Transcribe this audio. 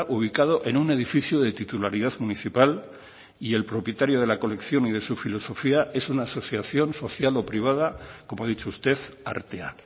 ubicado en un edificio de titularidad municipal y el propietario de la colección y de su filosofía es una asociación social o privada como ha dicho usted artea